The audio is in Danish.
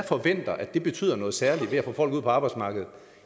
forventer at det betyder noget særligt i at få folk ud på arbejdsmarkedet